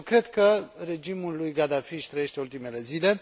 Eu cred că regimul lui Gaddafi își trăiește ultimele zile.